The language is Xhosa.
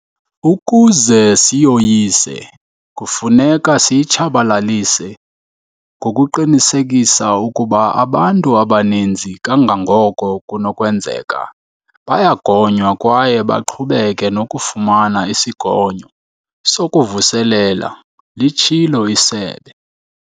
Ukuze siyoyise, kufuneka siyitshabalalise ngokuqinisekisa ukuba abantu abaninzi kangangoko kunokwenzeka bayagonywa kwaye baqhubeke nokufumana isigonyo sokuvuselela, litshilo isebe.